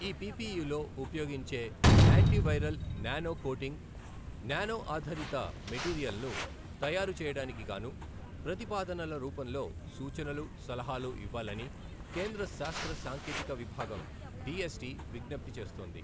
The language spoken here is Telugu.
ఈ పిపిఇలో ఉపయోగించే anti viral nano coating, nano ఆధారిత మెటీరియల్ను తయారు చేయడానికిగాను ప్రతిపాదనల రూపంలో సూచనలు, సలహాలు ఇవ్వాలని కేంద్ర శాస్త్ర సాంకేతిక విభాగం డిఎస్ టి విజ్ఙప్తి చేస్తోంది.